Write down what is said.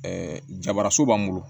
Ɛɛ jabaraso b'an bolo